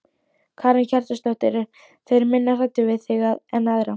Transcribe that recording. Karen Kjartansdóttir: Eru þeir minna hræddir við þig en aðra?